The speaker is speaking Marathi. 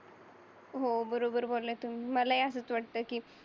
हो बरोबर बोलल्या तुम्ही मला हि असंच वाटत कि